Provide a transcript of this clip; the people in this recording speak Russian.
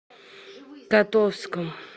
котовском